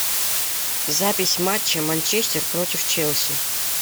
запись матча манчестер против челси